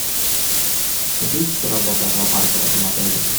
какие часы работы аквапарка в этом отеле